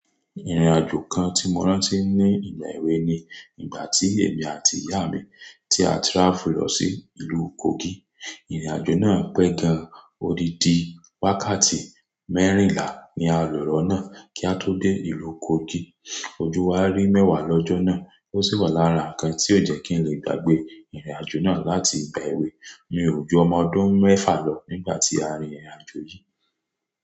Ìrìnàjò kan tí mo rántí ni ìgbà èwe ni ìgbà tí èmi àti ìyá mi tí a travel lọ sí ìlú Kogi. Ìrìnàjò náà pẹ́ gan-an, ódidí wákàtí mẹ́rìnlá ni a lò lọ́nà kí a tó dé ìlú Kogi. Ojú wa rí mẹ́wàá lọ́jọ́ náà, ó sì wà lára ǹkan tí ò jẹ́ kí n lè gbàgbé ìrìnàjò náà láti ìgbà èwe. Mi ò jù ọmọ ọdún mẹ́fà lọ nígbà tí a rin ìrìnàjò yìí.